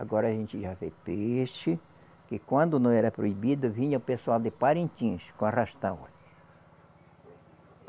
Agora a gente já vê peixe, que quando não era proibido, vinha o pessoal de Parintins com arrastão.